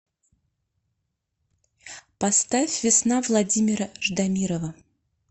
поставь весна владимира ждамирова